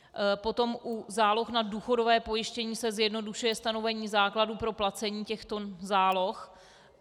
Potom u záloh na důchodové pojištění se zjednodušuje stanovení základu pro placení těchto záloh.